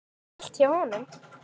Snjallt hjá honum.